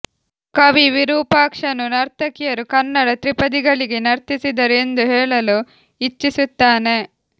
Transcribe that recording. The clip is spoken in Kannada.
ಕವಿ ವಿರೂಪಾಕ್ಷನು ನರ್ತಕಿಯರು ಕನ್ನಡ ತ್ರಿಪದಿಗಳಿಗೆ ನರ್ತಿಸಿದರು ಎಂದು ಹೇಳಲು ಇಚ್ಛಿಸುತ್ತಾನೆ